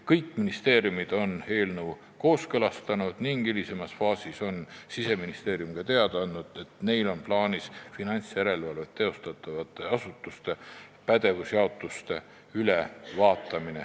Kõik ministeeriumid on eelnõu kooskõlastanud ning hilisemas faasis on Siseministeerium teada andnud, et neil on plaanis finantsjärelevalvet teostavate asutuste pädevuse jaotus üle vaadata.